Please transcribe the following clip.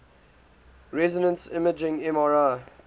resonance imaging mri